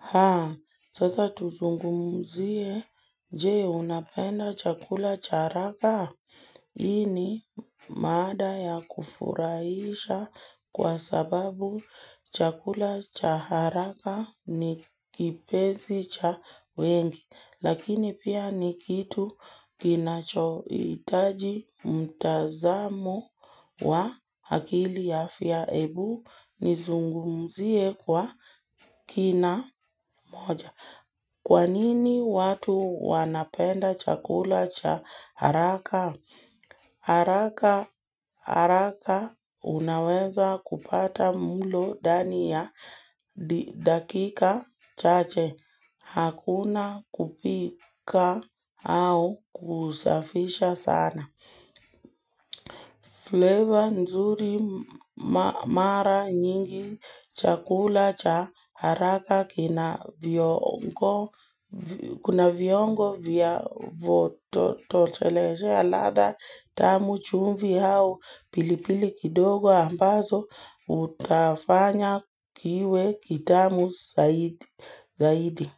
Haa, sasa tuzungumzie je, unapenda chakula cha haraka? Hii ni mada ya kufurahisha kwa sababu chakula cha haraka ni kipenzi cha wengi. Lakini pia ni kitu kinachohitaji mtazamo wa akili ya afya ebu nizungumzie kwa kina moja. Kwa nini watu wanapenda chakula cha haraka? Haraka haraka unaweza kupata mulo ndani ya dakika chache hakuna kupika au kusafisha sana. Flavor nzuri mara nyingi, chakula cha haraka kina viungo vya kutosheleshea ladha, tamu chumvi au, pilipili kidogo ambazo, hufanya kiwe kitamu zaidi.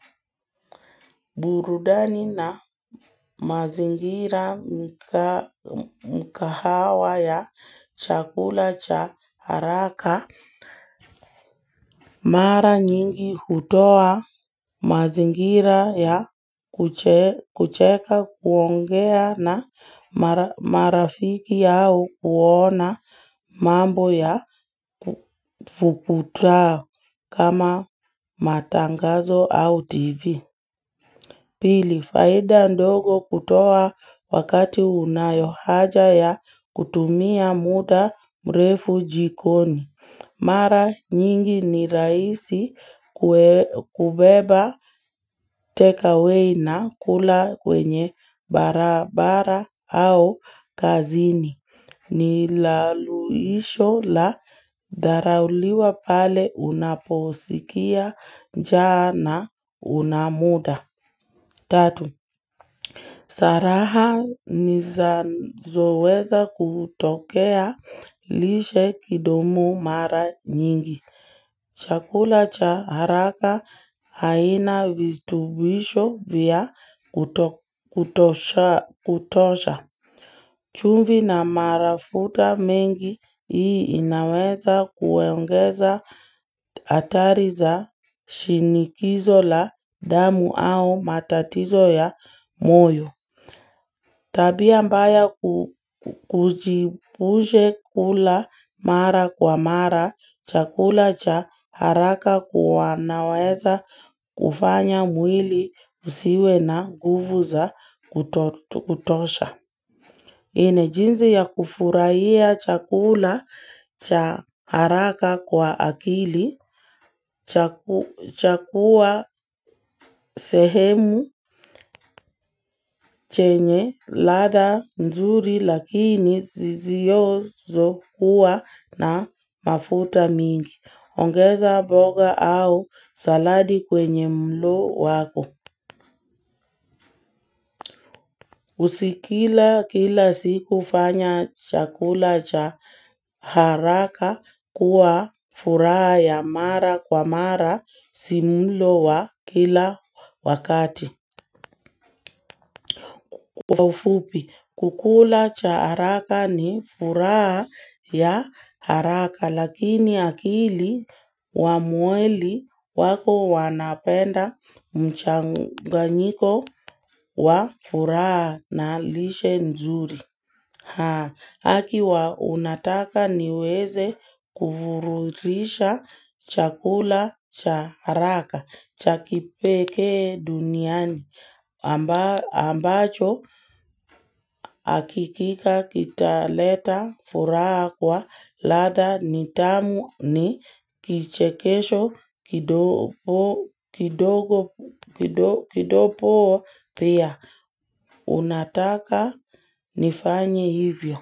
Burudani na mazingira mikahawa ya chakula cha haraka. Mara nyingi hutoa mazingira ya kucheka kuongea na marafiki yao kuona mambo ya fukuta kama matangazo au TV. Pili, faida ndogo hutoa wakati unayohaja ya kutumia muda mrefu jikoni. Mara nyingi ni rahisi kubeba take away na kula kwenye barabara au kazini. Ni suluhisho la dharura pale unaposikia njaa hauna muda. Tatu, saraha zinazoweza kutokea lishe kidomo mara nyingi. Chakula cha haraka hakina virutubisho vya kutosha. Chumvi na mafuta mengi, hii inaweza kuongeza hatari za shinikizo la damu au matatizo ya moyo. Tabia mbaya tujiepushe kula mara kwa mara, chakula cha haraka kwa sababu kinaweza kufanya mwili husiwe na guvu za kutosha. Nne jinsi ya kufurahia chakula cha haraka kwa akili, chagua sehemu, yenye, ladha, nzuri, lakini zizizokuwa na mafuta mengi. Ongeza mboga au saladi kwenye mlo wako. Usikile kila siku fanya chakula cha haraka kuwa furaha ya mara kwa mara si mlo wa kila wakati. Chakula cha haraka ni furaha ya haraka lakini akili na mwili wako zinapenda mchanganyiko wa furaha na lishe nzuri. Akiwa unataka niweze kufururisha chakula cha haraka, cha kipekee duniani, ambacho akikika kitaleta furaha kwa latha nitamu ni kichekesho kidogo pia. Unataka nifanye hivyo.